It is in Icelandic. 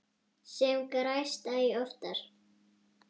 Sem gerist æ oftar.